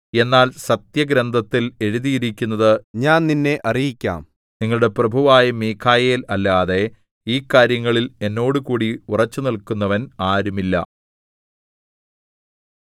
എന്നാൽ സത്യഗ്രന്ഥത്തിൽ എഴുതിയിരിക്കുന്നത് ഞാൻ നിന്നെ അറിയിക്കാം നിങ്ങളുടെ പ്രഭുവായ മീഖായേൽ അല്ലാതെ ഈ കാര്യങ്ങളിൽ എന്നോടുകൂടി ഉറച്ചുനില്ക്കുന്നവൻ ആരും ഇല്ല